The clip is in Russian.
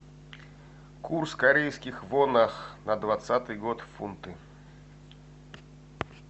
курс корейских вонах на двадцатый год в фунты